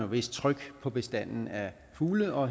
vist tryk på bestanden af fugle og